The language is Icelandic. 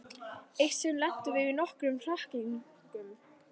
Eitt sinn lentum við í nokkrum hrakningum.